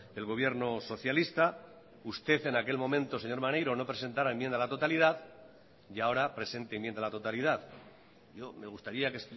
el gobierno socialista usted en aquel momento señor maneiro no presentara enmienda a la totalidad y ahora presente enmienda a la totalidad yo me gustaría que